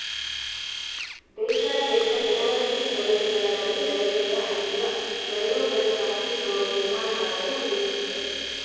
ದೇಶಾದ್ಯಂತ ಜನವಸತಿ ಪ್ರದೇಶಗಳ ಬಳಿ ರೈಲ್ವೆಯ ಹಳಿಯ ಎರಡೂ ಬದಿ ಕಾಂಕ್ರಿಟ್‌ ಗೋಡೆ ನಿರ್ಮಾಣ ಮಾಡಲು ಉದ್ದೇಶಿಸಿದೆ